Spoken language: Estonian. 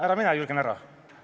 Ära mine, Jürgen, ära!